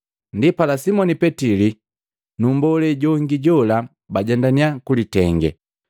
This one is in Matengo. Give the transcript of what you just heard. Ndipala Simoni Petili na mmbolee jongi jola bajendannya kulitenge.